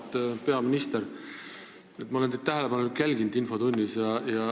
Auväärt peaminister, ma olen teid infotunnis tähelepanelikult jälginud.